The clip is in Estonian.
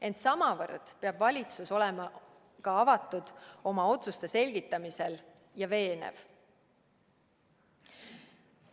Ent samavõrd peab valitsus olema oma otsuste selgitamisel avatud ja veenev.